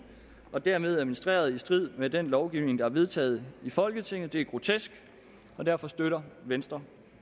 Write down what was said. og dermed administreret i strid med den lovgivning der er vedtaget i folketinget det er grotesk og derfor støtter venstre